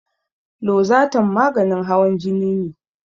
Lozatan maganin hawan jini ne